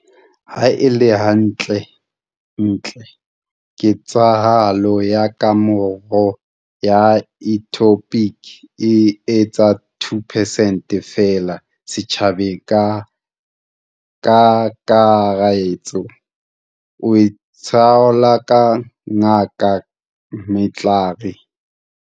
Ha e le hantle-ntle, ketsahalo ya kemaro ya ectopic e etsa 2 percent feela setjhabeng ka kakaretso, o itsalo Ngaka Mhlari.